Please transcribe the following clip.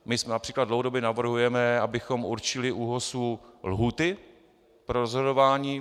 My například dlouhodobě navrhujeme, abychom určili ÚOHS lhůty pro rozhodování.